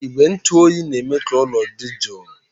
Igwe ntụ oyi na-eme ka ụlọ dị jụụ